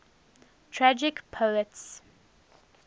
tragic poets